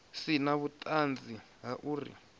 si na vhuṱanzi ha uri